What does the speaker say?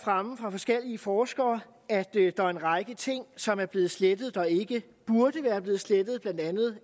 forskellige forskere at der er en række ting som er blevet slettet der ikke burde være blevet slettet blandt andet